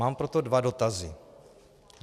Mám proto dva dotazy.